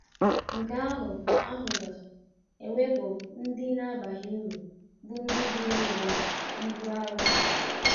Nke ahụ ahụ ga - ewepụ ndị na - abaghị uru bụ́ ndị bụụrụ ụwa ibu arọ. ”